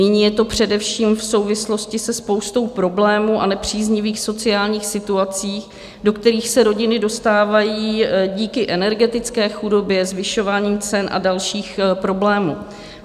Nyní je to především v souvislosti se spoustou problémů a nepříznivých sociálních situací, do kterých se rodiny dostávají díky energetické chudobě, zvyšování cen a dalších problémů.